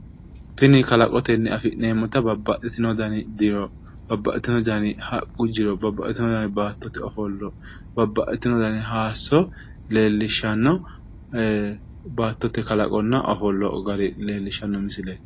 Tinni kalaqotenni afi'neemota babbaxitino danni jiro babbaxitino danni haqu jiro babbaxitino danni baattote ofollo babbaxitino danni hayiso leelishano baattote kallaqonna ofollo gara leelishano misilleeti gate.